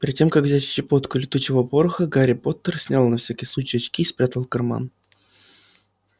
перед тем как взять щепотку летучего пороха гарри поттер снял на всякий случай очки и спрятал в карман